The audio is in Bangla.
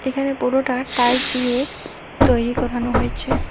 এখানে পুরোটা টাইলস দিয়ে তৈরি করানো হয়েছে।